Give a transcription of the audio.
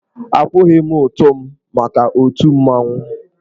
Akwụghị m ụtụ m maka otù mmanwụ.